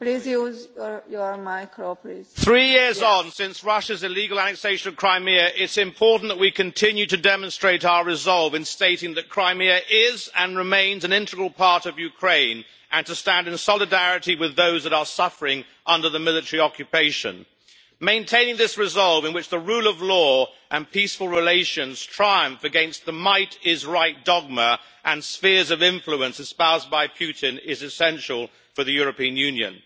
Madam President, three years since Russia's annexation of Crimea, it is important that we continue to demonstrate our resolve in stating that Crimea is, and remains, an integral part of Ukraine, and to stand in solidarity with those that are suffering under the military occupation. Maintaining this resolve, in which the rule of law and peaceful relations triumph against the might is right' dogma and spheres of influence espoused by Putin, is essential for the European Union.